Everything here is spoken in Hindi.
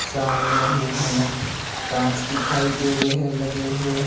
सामने ही हमें कांच दिखाई दे रहे हैं लगे हुए--